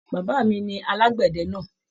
Bàbá mí ní alagbẹdẹ náà.